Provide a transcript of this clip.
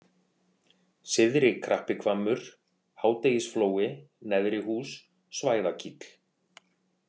Syðri-Krappihvammur, Hádegisflói, Neðrihús, Svæðakíll